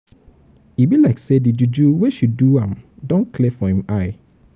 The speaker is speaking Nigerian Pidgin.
e be like say di juju wey she do am don clear for im eye.